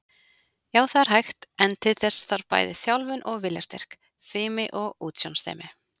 Já, það er hægt, en til þess þarf bæði þjálfun og viljastyrk, fimi og útsjónarsemi.